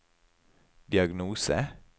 diagnose